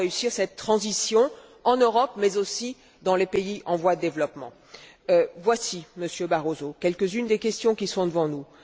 comment réussir cette transition en Europe, mais aussi dans les pays en voie de développement. Voici, Monsieur Barroso, quelques unes des questions qui sont devant nous.